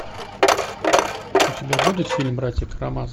у тебя будет фильм братья карамазовы